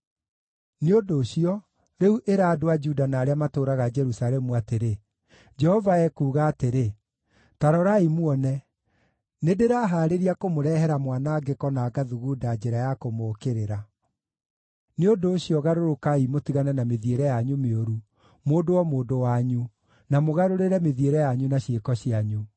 “Nĩ ũndũ ũcio, rĩu ĩra andũ a Juda na arĩa matũũraga Jerusalemu atĩrĩ, ‘Jehova ekuuga atĩrĩ: Ta rorai muone! Nĩndĩrahaarĩria kũmũrehera mwanangĩko na ngathugunda njĩra ya kũmũũkĩrĩra. Nĩ ũndũ ũcio, garũrũkai mũtigane na mĩthiĩre yanyu mĩũru, mũndũ o mũndũ wanyu, na mũgarũrĩre mĩthiĩre yanyu na ciĩko cianyu.’